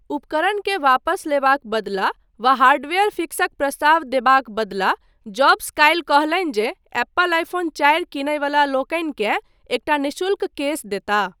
उपकरणकेँ वापस लेबाक बदला वा हार्डवेयर फिक्सक प्रस्ताव देबाक बदला, जॉब्स काल्हि कहलनि जे एप्पल आईफोन चारि कीनयवला लोकनिकेँ एकटा निःशुल्क केस देताह।